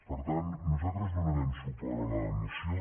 per tant nosaltres donarem suport a la moció